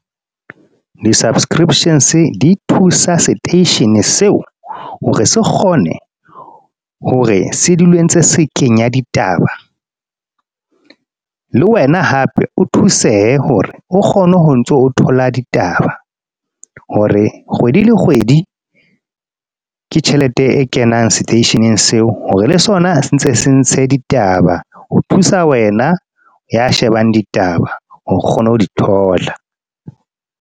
Di-subscriptions di thusa station seo, hore se kgone hore se dule ntse se kenya ditaba. Le wena hape, o thuseye hore o kgone ho ntso o thola ditaba. Hore kgwedi le kgwedi, ke tjhelete e kenang station-ing seo. Hore le sona se ntse se ntshe ditaba. Ho thusa wena ya shebang ditaba, hore o kgone ho di thola.